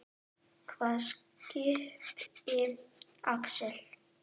Hvaða skipi, Axel?